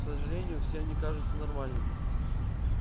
к сожалению все они кажутся нормальными